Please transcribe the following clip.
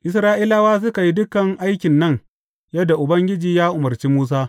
Isra’ilawa suka yi dukan aikin nan yadda Ubangiji ya umarci Musa.